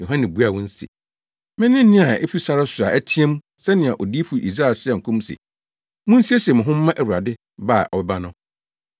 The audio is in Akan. Yohane buaa wɔn se, “Mene nne a efi sare so a ɛteɛ mu sɛnea Odiyifo Yesaia hyɛɛ nkɔm se, ‘Munsiesie mo ho mma Awurade ba a ɔbɛba no.’ ”